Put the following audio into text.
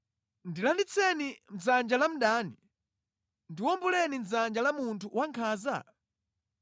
ndilanditseni mʼdzanja la mdani, ndiwomboleni mʼdzanja la munthu wankhanza?’